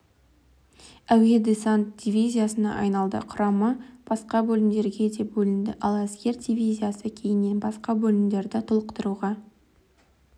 әуе-десант дивизиясына айналды құрамы басқа бөлімдерге де бөлінді ал әскер дивизиясы кейіннен басқа бөлімдерді толықтыруға